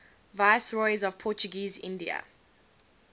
viceroys of portuguese india